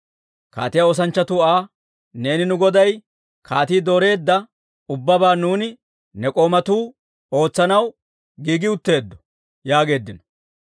Kaatiyaa oosanchchatuu Aa, «Neeni nu goday kaatii dooreedda ubbabaa nuuni ne k'oomatuu ootsanaw giigi utteeddo» yaageeddino.